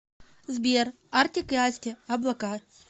сбер артик и асти облака